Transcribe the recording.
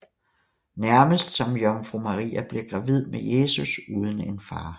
Nærmest som Jomfru Maria blev gravid med Jesus uden en far